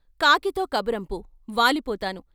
కాకితో కబురంపు, వాలిపోతాను.